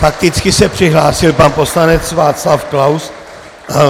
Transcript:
Fakticky se přihlásil pan poslanec Václav Klaus.